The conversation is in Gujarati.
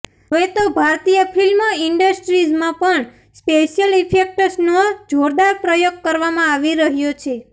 હવે તો ભારતીય ફિલ્મ ઇન્ડસ્ટ્રીઝમાં પણ સ્પેશિયલ ઇફેક્ટ્સનો જોરદાર પ્રયોગ કરવામાં આવી રહ્યો છે